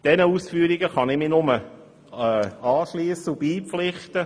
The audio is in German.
Diesen Ausführungen kann ich mich nur anschliessen und ihnen beipflichten.